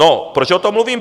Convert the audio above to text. No, proč o tom mluvím?